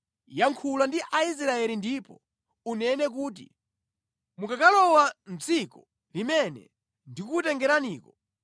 “Yankhula ndi Aisraeli ndipo unene kuti, ‘Mukakalowa mʼdziko limene ndikukutengeraniko